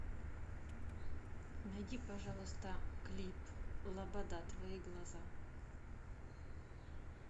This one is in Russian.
найди пожалуйста клип лобода твои глаза